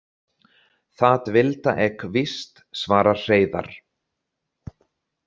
Þat vilda ek víst, svarar Hreiðarr.